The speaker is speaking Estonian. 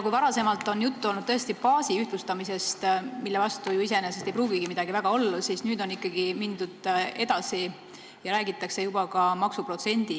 Kui varem on olnud juttu baasi ühtlustamisest, mille vastu iseenesest ei pruugigi midagi väga olla, siis nüüd on ikkagi mindud edasi ja räägitakse juba ka maksuprotsendi